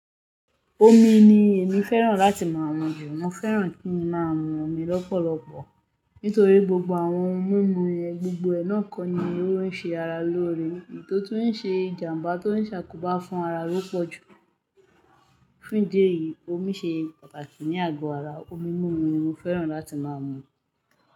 Omi ni èmi fẹ́ràn láti máa mu jù, mo fẹ́ràn kí n máa mu omi lọ́pọ̀lọpọ̀ nítorí gbogbo àwọn ohun mímu yẹn gbogbo ẹ̀ náà kọ́ ni ó ń ṣe ara lóore, èyi to ruń ṣe ìjàmbá, tó ń ṣàkóbá fún ara ló pọ̀ jù. Fún ìdí èyí, omi ṣe pàtàkì ní àgọ́ ara. Omi mímu ni mo fẹ́ràn láti máa mu.